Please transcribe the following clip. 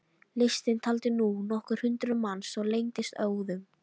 Listinn taldi nú nokkur hundruð manns og lengdist óðum.